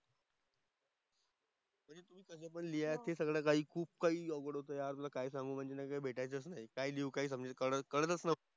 लिहायचे सगळं काही खूप काही अवघड होतं यार. तुला काय सांगू म्हणजे ना भेटायचंच नाही. काय लिहू काही समजे कळत कळतंच नव्हतं.